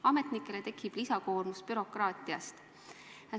Ametnikele tekitab see lisakoormust, lisabürokraatiat.